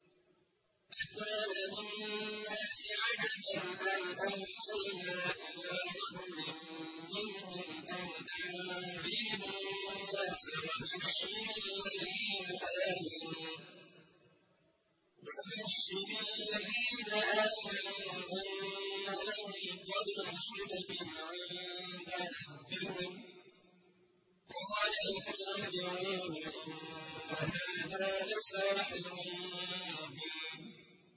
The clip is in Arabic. أَكَانَ لِلنَّاسِ عَجَبًا أَنْ أَوْحَيْنَا إِلَىٰ رَجُلٍ مِّنْهُمْ أَنْ أَنذِرِ النَّاسَ وَبَشِّرِ الَّذِينَ آمَنُوا أَنَّ لَهُمْ قَدَمَ صِدْقٍ عِندَ رَبِّهِمْ ۗ قَالَ الْكَافِرُونَ إِنَّ هَٰذَا لَسَاحِرٌ مُّبِينٌ